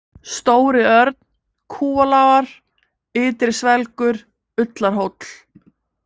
Stóri-Örn, Kúalágar, Ytri-Svelgur, Ullarhóll